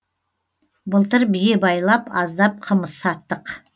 былтыр бие байлап аздап қымыз саттық